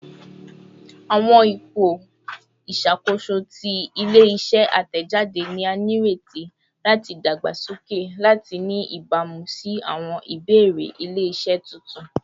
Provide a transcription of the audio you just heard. Awọn ipo iṣakoso ti ile-iṣẹ atẹjade ni a nireti lati dagbasoke lati ni ibamu si awọn ibeere ile-iṣẹ tuntun